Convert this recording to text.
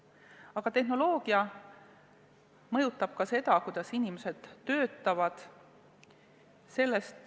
Aga tehnoloogia mõjutab ka seda, kuidas inimesed töötavad.